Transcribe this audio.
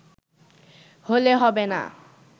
হলে হবে না